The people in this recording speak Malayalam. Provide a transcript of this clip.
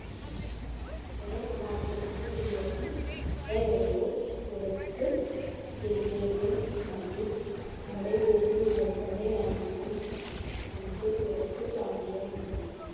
നമ്മുടെ മാട്ടിറച്ചി ബിരിയാണി ഇത്രയേ ഉള്ളൂ. കുറച്ചു ingredients മതി. നമ്മുടെ വീട്ടിൽ ഉള്ളതു തന്നെയായിരിക്കും. നമുക്ക് കുറച്ച് വാങ്ങിയാൽ മതി.